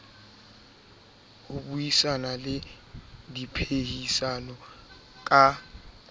ho buisana le diphehisano ka